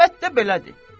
Əlbəttə belədi.